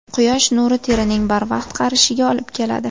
Quyosh nuri terining barvaqt qarishiga olib keladi.